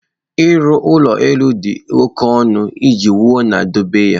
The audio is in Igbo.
ụlọ elu dị oke ọnụ iji wuo na idobe ya.